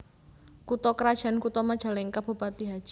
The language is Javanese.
Kutha krajan Kutha MajalengkaBupati Hj